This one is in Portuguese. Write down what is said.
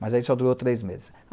Mas aí só durou três meses.